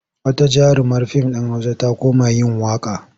Wata jarumar fim ɗin Hausa ta koma yin waƙa.